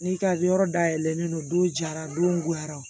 N'i ka yɔrɔ dayɛlɛlen don don jara don yara